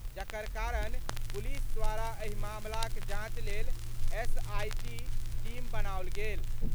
जकर कारण पुलिस द्वारा एहि मामलाक जांच लेल एसआईटी टीम बनाओल गेल।